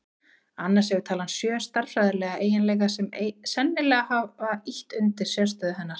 Annars hefur talan sjö stærðfræðilega eiginleika sem sennilega hafa ýtt undir sérstöðu hennar.